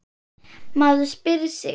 Maður spyr sig.